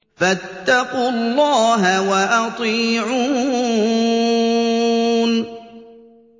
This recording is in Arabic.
فَاتَّقُوا اللَّهَ وَأَطِيعُونِ